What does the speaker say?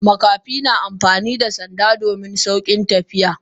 Makafi na amfani da sanda domin saukin tafiya.